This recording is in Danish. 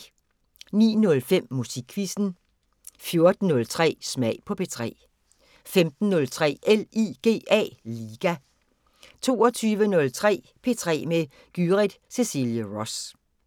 09:05: Musikquizzen 14:03: Smag på P3 15:03: LIGA 22:03: P3 med Gyrith Cecilie Ross